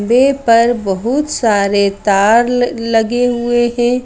वे पर बहुत सारे तार ल लगे हुए हैं।